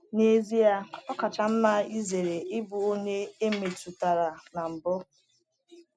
N’ezie, ọ kacha mma izere ịbụ onye e metụtara na mbụ.